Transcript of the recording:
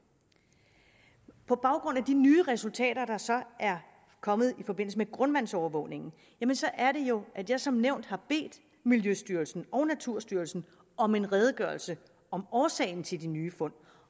på baggrund af de nye resultater der så er kommet i forbindelse med grundvandsovervågningen er det jo at jeg som nævnt har bedt miljøstyrelsen og naturstyrelsen om en redegørelse om årsagen til de nye fund